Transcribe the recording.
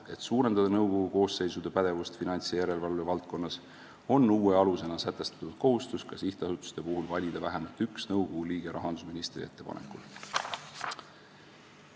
Et suurendada nõukogude koosseisude pädevust finants- ja järelevalvevaldkonnas, on uue alusena sätestatud kohustus ka sihtasutuste puhul valida vähemalt üks nõukogu liige rahandusministri ettepanekul.